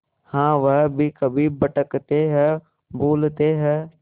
हाँ वह भी कभी भटकते हैं भूलते हैं